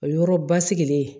O yɔrɔ basigilen